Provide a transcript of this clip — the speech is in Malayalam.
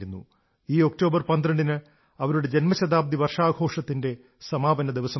ഈ ഒക്ടോബർ 12 ന് അവരുടെ ജന്മശതാബ്ദി വർഷാഘോഷത്തിന്റെ സമാപനദിവസമാണ്